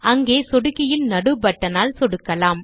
அங்கே சொடுக்கியின் நடு பட்டனால் சொடுக்கலாம்